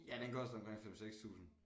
Ja den koster omkring 5 6000